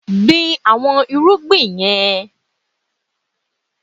Gbin àwọn irúgbìn yẹn